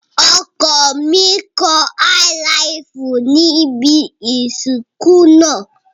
Ọkọ mi kọ Áílaàfù níbi ìsìnkú náà.